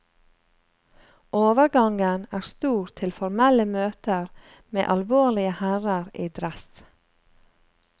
Overgangen er stor til formelle møter med alvorlige herrer i dress.